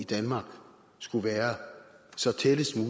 i danmark skulle være så tæt